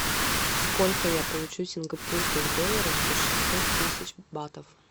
сколько я получу сингапурских долларов за шестьсот тысяч батов